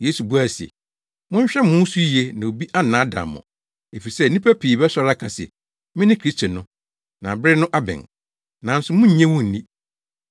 Yesu buae se, “Monhwɛ mo ho so yiye na obi annaadaa mo, efisɛ nnipa pii bɛsɔre aka se, ‘Mene Kristo no’ na bere no abɛn, nanso monnnye wɔn nni!